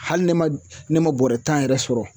Hali ne ma ne ma bɔrɛ tan yɛrɛ sɔrɔ